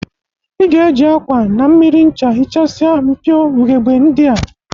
I ga-eji akwa, na mmiri ncha hichasia mpio ughebe ndị a